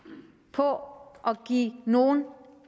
på at give nogen